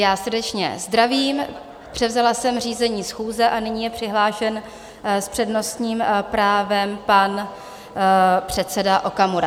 Já srdečně zdravím, převzala jsem řízení schůze a nyní je přihlášen s přednostním právem pan předseda Okamura.